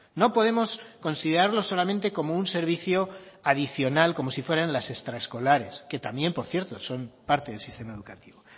no podemos considerarlo solamente como un servicio adicional como si fueran las extraescolares que también por cierto son parte del sistema educativo